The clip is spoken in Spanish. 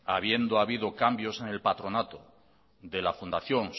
habiendo habido cambios en el patronato de la fundación